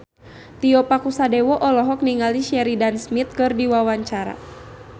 Tio Pakusadewo olohok ningali Sheridan Smith keur diwawancara